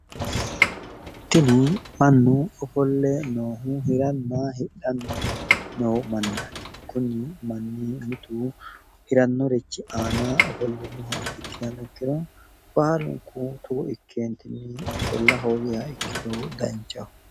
tini mannu ofolle noohu hiranna hidhanni noo mannaati mitu hirannorichi ana ofolle nooha ikkihano ikiro baalunku togo ikke ofolla hoogiro danchaho.